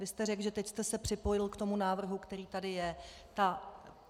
Vy jste řekl, že teď jste se připojil k tomu návrhu, který tady je.